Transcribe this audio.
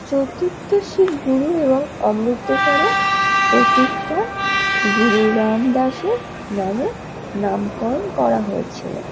চতুর্থ সিং গুরু এবংঅমৃতসরের প্রতিষ্ঠা গুরুদাম দাসের নামে নামকরণ করা হয়েছিল।